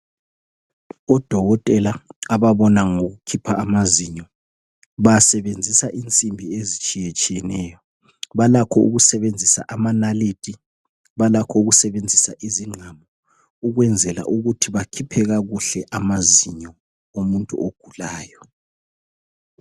Udokotela ababona ngokukhipha amazinyo basebenzisa insimbi ezitshiyetshiyeneyo balakho ukusebenzisa amanalithi balakho ukusebenzisa izigqamu ukwenzela ukuthi bakhiphe kakuhle amazinyo omuntu ogulayo .